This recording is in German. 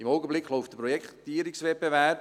Im Augenblick läuft der Projektierungswettbewerb.